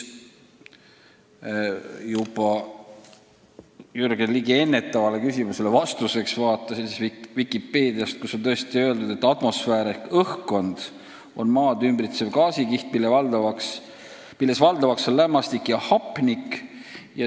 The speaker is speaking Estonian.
Jürgen Ligi küsimuse peale ma vaatasin Vikipeediat ja seal on tõesti öeldud, et atmosfäär ehk õhkkond on maad ümbritsev gaasikiht, milles valdavaks on lämmastik ja hapnik.